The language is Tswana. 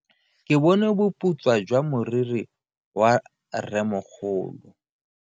Ke bone boputswa jwa meriri ya rremogolo.